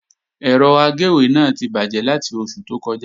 Ẹ̀rọ agéwé náà ti bàjẹ́ láti oṣù tó kọjá